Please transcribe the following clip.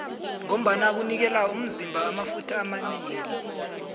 ngombana kunikela umzima amafutha amanengi